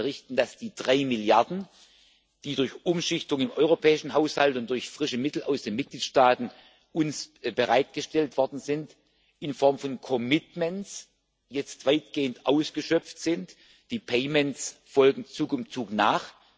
Ich kann Ihnen berichten, dass die drei Milliarden, die uns durch Umschichtung im europäischen Haushalt und durch frische Mittel aus den Mitgliedstaaten bereitgestellt worden sind, in Form von commitments jetzt weitgehend ausgeschöpft sind die payments folgen Zug um Zug nach.